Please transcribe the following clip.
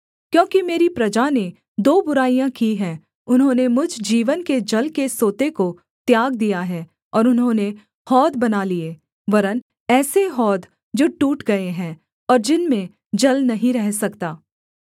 क्योंकि मेरी प्रजा ने दो बुराइयाँ की हैं उन्होंने मुझ जीवन के जल के सोते को त्याग दिया है और उन्होंने हौद बना लिए वरन् ऐसे हौद जो टूट गए हैं और जिनमें जल नहीं रह सकता